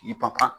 I pan pan